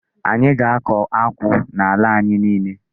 Anyị ga-akọ akwụ n'ala anyị niile.